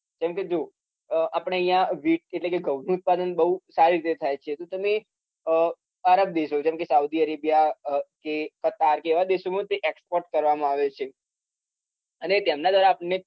જેમ કે જો અમ આપડે અહીંયા wheat એટલે કે ઘઉંનું ઉત્પાદન બોઉં સારી રીતે થાય છે તો તમે અમ આરબ દેશો જેમ કે Saudi Arabia કે Qatar કે એવા દેશોમાં તે export કરવામાં આવે છે અને તેમના દ્વારા આપણને